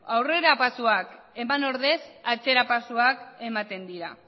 aurrerapausoak eman ordez atzerapausoak ematen dira